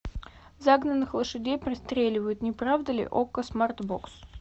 загнанных лошадей пристреливают не правда ли окко смарт бокс